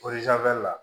la